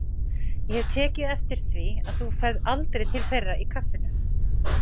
Ég hef tekið eftir því að þú ferð aldrei til þeirra í kaffinu.